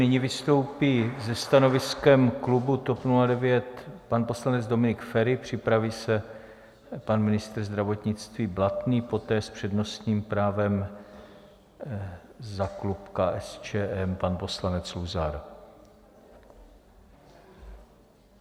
Nyní vystoupí se stanoviskem klubu TOP 09 pan poslanec Dominik Feri, připraví se pan ministr zdravotnictví Blatný, poté s přednostním právem za klub KSČM pan poslanec Luzar.